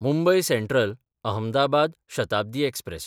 Mumbai Central-Ahmedabad Shatabdi express